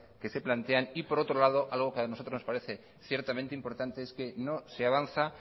que se plantean y por otro lado algo que a nosotros nos parece ciertamente importante es que no se avanza